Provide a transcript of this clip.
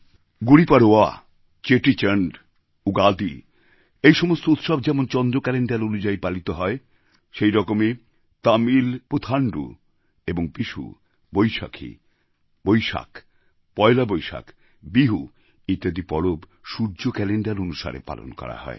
গুড়ীপড়ওয়া চেটিচণ্ড উগাদি এই সমস্ত উৎসব যেমন চন্দ্র ক্যালেণ্ডার অনুযায়ী পালিত হয় সেই রকমই তামিল পুথাণ্ডু এবং বিষু বৈশাখ বৈশাখী পয়লা বৈশাখ বিহু ইত্যাদি পরব সূর্য ক্যালেণ্ডার অনুসারে পালন করা হয়